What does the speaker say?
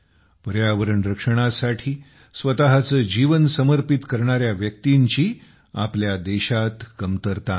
पर्यावरण रक्षणासाठी स्वतःचे जीवन समर्पित करणाऱ्या व्यक्तींची आपल्या देशात कमतरता नाही